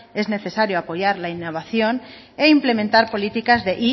es necesario apoyar la innovación e implementar políticas de